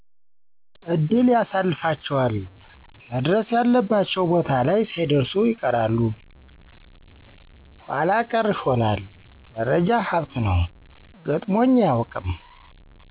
እድል ያሰልፋቸዋል መድረስ ያለባቸው ቦታ ላይ ሳይደርሱ ይቀራሉ ኃላ ቀረ ይሆናል መረጃ ሀብት ነው, ገጥሞኝ አያቀውቅም